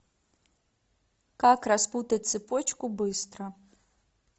как распутать цепочку быстро